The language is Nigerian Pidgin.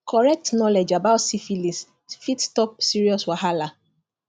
correct knowledge about syphilis fit stop serious wahala